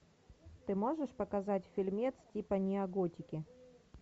ты можешь показать фильмец типа неоготики